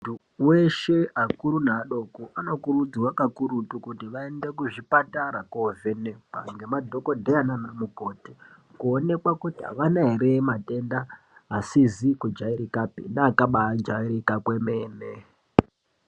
Muntu weshe akuru neadoko anokurudzirwa kakurutu kuti vaende kuzvipatara koovhenekwa ngema dhokodheya naana mukoti kuonekwa kuti avana here matenda asizi kujairikapi neakabaajairika kwemene.